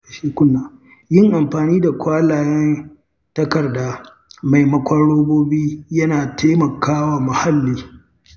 Yin amfani da kwalayen takarda maimakon robobi yana taimakawa muhalli.